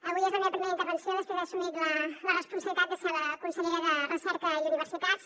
avui és la meva primera intervenció després d’haver assumit la responsabilitat de ser la consellera de recerca i universitats